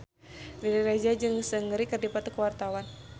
Riri Reza jeung Seungri keur dipoto ku wartawan